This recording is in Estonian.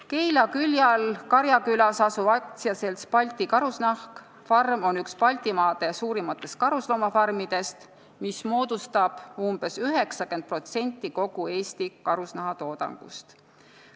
Keila külje all Karjakülas asuv AS-i Balti Karusnahk farm on üks Baltimaade suurimatest karusloomafarmidest, mis annab umbes 90% kogu Eesti karusnahatoodangust.